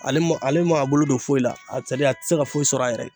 Ale ma ale ma a bolo don foyi la sadi a ti se ka foyi sɔrɔ a yɛrɛ ye